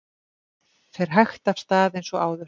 Fer hægt af stað eins og áður